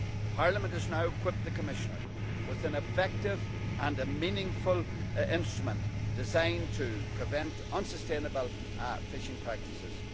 Parliament has now equipped the Commissioner with an effective and a meaningful instrument designed to prevent unsustainable fishing practices.